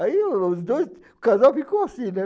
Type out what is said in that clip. Aí os dois, o casal ficou assim, né?